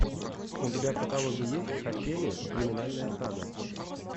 у тебя в каталоге есть качели криминальная сага